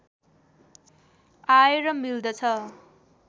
आएर मिल्दछ